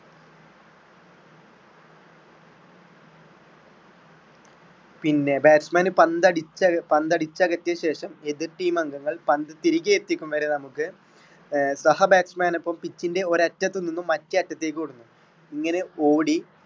പിന്നെ bats man പന്തടിച്ച~പന്തടിച്ചകറ്റിയ ശേഷം എതിർ team അംഗങ്ങൾ പന്ത് തിരികെ എത്തിക്കും വരെ നമ്മുക്ക് ആഹ് സഹ batsman അപ്പൊ ഒരു pitch ന്റെ ഒരു അറ്റത്ത് നിന്നും മറ്റേ അറ്റത്തിലേക്ക് ഓടുന്നു ഇങ്ങനെ ഓടി.